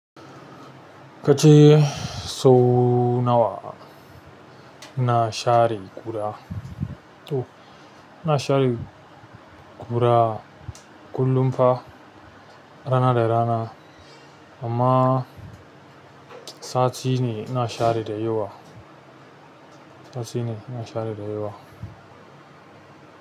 Kace sau nawa? Na share guda to, na share ƙura kullum fa rana da rana amma sati ne inna share da yawa. Sati ne na share da yawa.